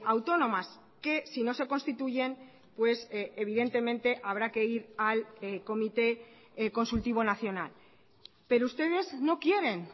autónomas que si no se constituyen pues evidentemente habrá que ir al comité consultivo nacional pero ustedes no quieren